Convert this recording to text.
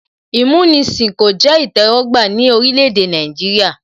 Ìmúnisìn kò jẹ́ ìtẹ́wọ́gbà ní orílẹ̀ èdè Nàìjíríà